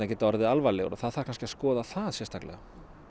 geti orðið alvarlegar og það þarf kannski að skoða það sérstaklega